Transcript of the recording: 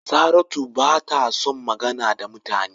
Saratu bata son magana da mutane